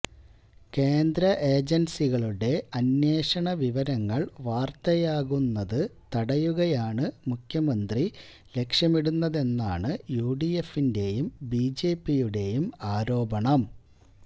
കേന്ദ്ര ഏജൻസികളുടെ അന്വേഷണവിവരങ്ങൾ വാർത്തയാകുന്നത് തടയുകയാണ് മുഖ്യമന്ത്രി ലക്ഷ്യമിടുന്നതെന്നാണ് യുഡിഎഫിൻ്റെയും ബിജെപിയുടെയും ആരോപണം